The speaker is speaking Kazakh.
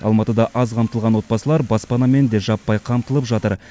алматыда аз қамтылған отбасылар баспанамен де жаппай қамтылып жатыр